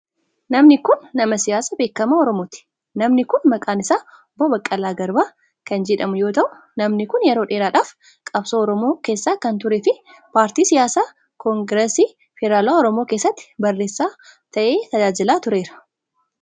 Namni kun, nama siyaasaa beekamaa Oromooti. Namni kun, maqaan isaa Obbo Baqqalaa Garbaa kan jedhamu yoo ta'u, namni kun yeroo dheeraadhaaf qabsoo Oromoo keessa kan turee fi paartii siyaasaa Koongirasii federaalawaa oromoo keessatti barreessaa ta'ee tajaajilaa tureera.